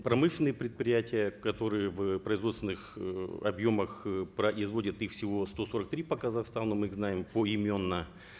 промышленные предприятия которые в производственных э объемах э производят их всего сто сорок три по казахстану мы их знаем поименно